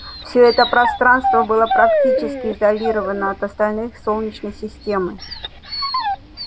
все это пространство было практически изолировано от остальной солнечной системы